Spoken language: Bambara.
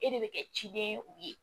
E de bɛ kɛ ciden ye u ye